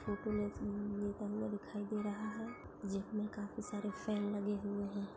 Photo मे दिखाई दे रहा है जिनमे काफी सारे फ़ैन लगे हुए है।